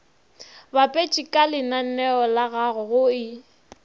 bapetše kalenaneo lagago go e